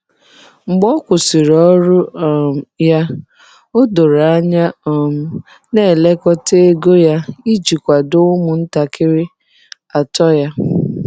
Mgbe ọ kwụsịrị ọrụ um ya, o doro anya um na-elekọta ego ya iji kwado ụmụntakịrị atọ ya.